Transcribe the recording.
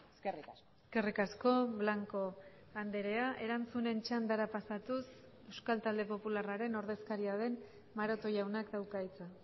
eskerrik asko eskerrik asko blanco andrea erantzunen txandara pasatuz euskal talde popularraren ordezkaria den maroto jaunak dauka hitza